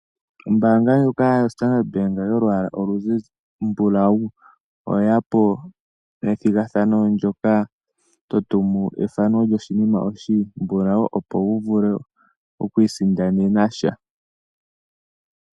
Ombaanga ndjoka yoStandard Bank yolwaala olumbulawu oye ya po nethigathano ndyoka to tumu ethano lyoshinima oshimbulau, opo wu vule okuisindanena sha.